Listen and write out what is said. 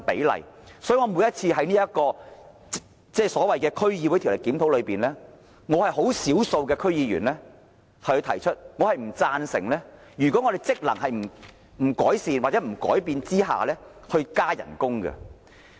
因此，每次在所謂的《區議會條例》檢討中，我是少數的區議員提出以下看法，就是在區議會職能未有改善或改變下，我不贊成加薪。